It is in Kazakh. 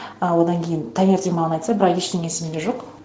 а одан кейін таңертең маған айтса бірақ ештеңе есімде жоқ